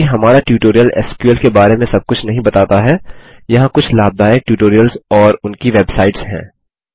चूँकि हमारा tutorial SQL के बारे में सबकुछ नहीं बताता हैयहाँ कुछ लाभदायक ट्यूटोरियल्स और उनकी वेबसाइट्स हैं